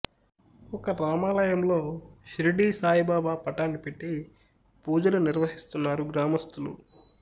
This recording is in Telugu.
ఒక రామాలయంలోషిర్డీ సాయిబాబా పటాన్ని పెట్టి పూజలు నిర్వహిస్తున్నారు గ్రామస్థులు